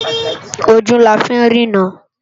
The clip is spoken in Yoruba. Ójú lá fi n rirãn